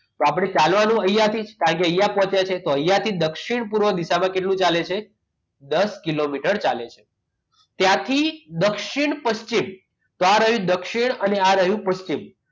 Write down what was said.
તો આપણે ચાલવાનું નથી કારણ કે અહીંયા થી પહોંચ્યા છે તો અહીંયાથી દક્ષિણ પૂર્વ દિશામાં કેટલું ચાલે છે દસ કિલોમીટર ચાલે છે ત્યાંથી દક્ષિણ પશ્ચિમ આ રહ્યું દક્ષિણ અને આ રહ્યું પશ્ચિમ